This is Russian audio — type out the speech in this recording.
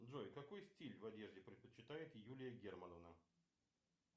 джой какой стиль в одежде предпочитает юлия германовна